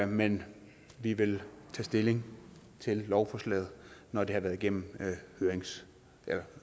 men vi vil tage stilling til lovforslaget når det har været igennem